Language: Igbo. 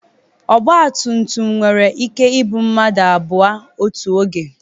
Ọgba tum tum nwere ike ibu mmadụ abụọ otu oge.